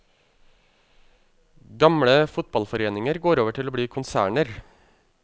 Gamle fotballforeninger går over til å bli konserner.